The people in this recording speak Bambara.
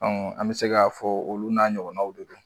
An bɛ se k'a fɔ olu n'a ɲɔgɔnnaw de don